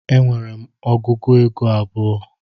E nwere m ọgụego abụọ